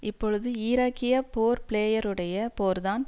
இப்பொழுது ஈராக்கிய போர் பிளேயருடைய போர் தான்